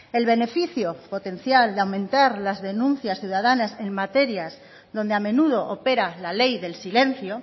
el beneficio potencial de aumentar las denuncias ciudadanas en materias donde a menudo opera la ley del silencio